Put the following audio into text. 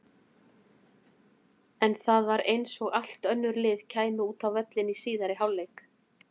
En það var eins og allt önnur lið kæmu út á völlinn í síðari hálfleik.